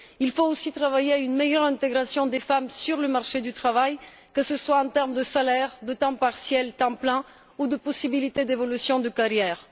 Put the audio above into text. Il faut aussi œuvrer à une meilleure intégration des femmes sur le marché du travail, que ce soit en termes de salaire, de temps partiel temps plein, ou de possibilités d'évolution de carrière.